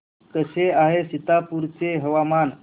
कसे आहे सीतापुर चे हवामान